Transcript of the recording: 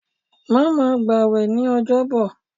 Má ma gbà wẹ̀ ní ọjọ́ bọ̀!